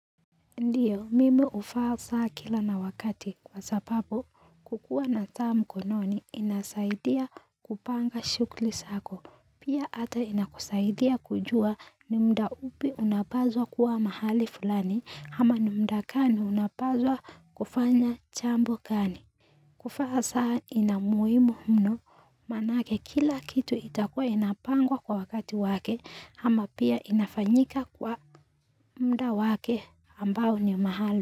Ndiyo huvaa saa kila wakati kwa sababu kukuwa na saa mkononi inasaidia kupanga shughuli zako. Pia ata inakusaidia kujua ni muda upi unapaswa kuwa mahali fulani ama ni muda gani unapaswa kufanya jambo gani. Kuvaa saa inamuhimunu maanake kila kitu itakuwa inapangwa kwa wakati wake ama pia inafanyika kwa muda wake ambao ni maaalum.